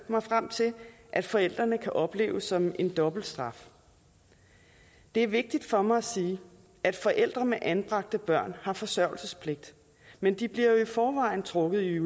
mig frem til at forældrene kan opleve som en dobbelt straf det er vigtigt for mig at sige at forældre med anbragte børn har forsørgelsespligt men de bliver jo i forvejen trukket i